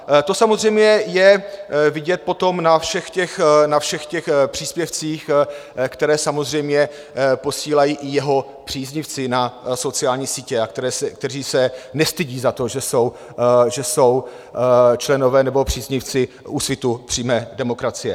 To samozřejmě je vidět potom na všech těch příspěvcích, které samozřejmě posílají i jeho příznivci na sociální sítě, kteří se nestydí za to, že jsou členové nebo příznivci Úsvitu přímé demokracie.